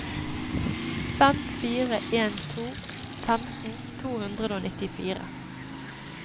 fem fire en to femten to hundre og nittifire